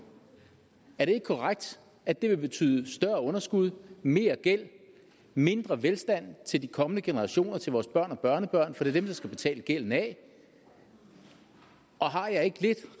er det ikke korrekt at det vil betyde større underskud mere gæld og mindre velstand til de kommende generationer til vores børn og børnebørn for det er dem der skal betale gælden af har jeg ikke lidt